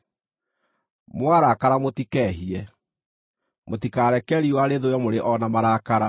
“Mwarakara mũtikehie”: Mũtikareke riũa rĩthũe mũrĩ o na marakara,